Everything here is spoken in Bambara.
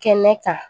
Kɛnɛ kan